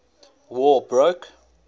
war broke